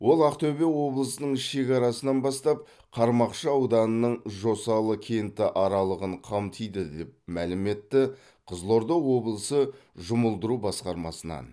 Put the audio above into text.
ол ақтөбе облысының шекарасынан бастап қармақшы ауданының жосалы кенті аралығын қамтиды деп мәлім етті қызылорда облысы жұмылдыру басқармасынан